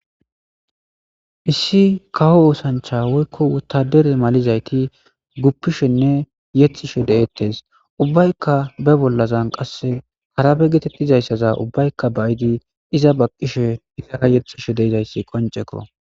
Issi kaho oosancha woykko wutadere malizayti guppishenne yexishe de'eettes ubbaykka be bollazan qasse harabe geetettizayssaza ubbaykka bayidi iza baqqishe hitana yexishe deizayssi qonceko.